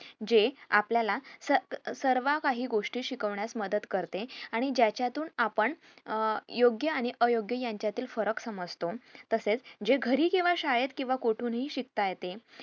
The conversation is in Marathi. जे आपल्याला स सर्व काही गोष्टी शिकवण्यास मदत करते आणि ज्याच्या तुन आपण अं योग्य आणि अयोग्य यांच्यातील फरक समजतो तसेच जे घरी केंव्हा शाळेत केंव्हा कुठून हि शिकता येते